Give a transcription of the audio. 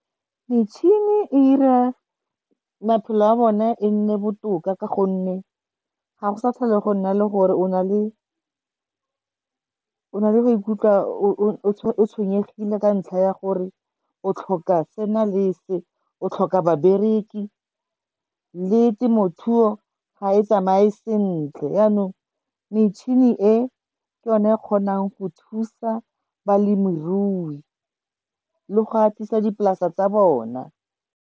Metšhini e ira maphelo a bone e nne botoka ka gonne ga go sa tlhole go nna le gore o na le go ikutlwa o tshwenyegile ka ntlha ya gore o tlhoka sena le se, o tlhoka ba bereki, le temothuo ga e tsamaye sentle. Yanong metšhini e, ke yone e kgonang go thusa balemirui, le go atisa dipolase tsa bona.